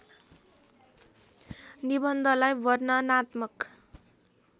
निबन्धलाई वर्णनात्मक